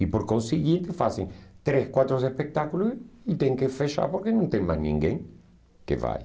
E por conseguinte fazem três, quatro espetáculos e tem que fechar porque não tem mais ninguém que vai.